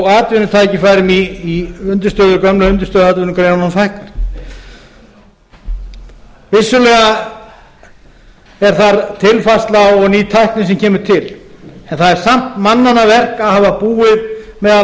og atvinnutækin í gömlu undirstöðuatvinnugreinunum fækkar vissulega er þar tilfærsla og ný tækni sem kemur til það er samt mannanna verk að hafa búið meðal